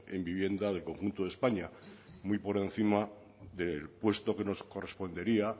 en vivienda del conjunto de españa muy por encima del puesto que nos correspondería